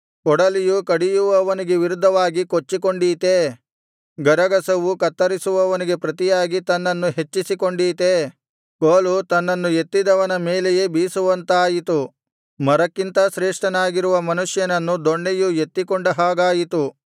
ಕೊಡಲಿಯು ಕಡಿಯುವವನಿಗೆ ವಿರುದ್ಧವಾಗಿ ಕೊಚ್ಚಿಕೊಂಡೀತೇ ಗರಗಸವು ಕತ್ತರಿಸುವವನಿಗೆ ಪ್ರತಿಯಾಗಿ ತನ್ನನ್ನು ಹೆಚ್ಚಿಸಿಕೊಂಡೀತೇ ಕೋಲು ತನ್ನನ್ನು ಎತ್ತಿದವನ ಮೇಲೆಯೇ ಬೀಸುವಂತಾಯಿತು ಮರಕ್ಕಿಂತ ಶ್ರೇಷ್ಠನಾಗಿರುವ ಮನುಷ್ಯನನ್ನು ದೊಣ್ಣೆಯು ಎತ್ತಿಕೊಂಡ ಹಾಗಾಯಿತು